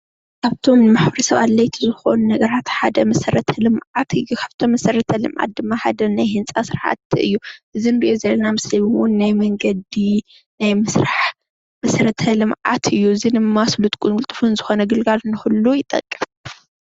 ካብእቶም ንምሕበረ ሰብ ኣድላይ ዝኮኑ ነገራት ሓደ ካብቶም መሰረተ ልምዓት እዩ፡፡ ካብቶም መሰረተ ልመዓት ድማ ሓደ ናይ ህንፃ ስራሕቲ እዩ፡፡ እዚ እንሪኦ ዘለና ምስሊ እውን ናይ መንገዲ ናይ ምስራሕ መሰረተ ልምዓት እዩ፡፡ እዚ ድማ ስሉጥን ቅልጡፍን ዝኮነ ግልጋሎት ንክህሉ ይጠቅም፡፡